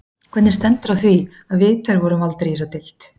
Hvernig stendur á því, að við tveir vorum valdir í þessa deild?